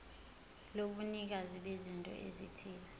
lobunikazi bezinto ezithile